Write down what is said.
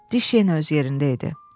Diş yenə öz yerində idi.